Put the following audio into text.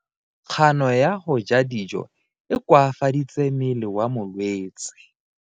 Kgano ya go ja dijo e koafaditse mmele wa molwetse.